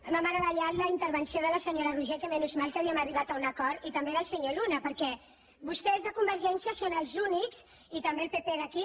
m’ha meravellat la intervenció de la senyora roigé que menys mal que havíem arribat a un acord i també del senyor luna perquè vostès a convergència i unió són els únics i també el pp d’aquí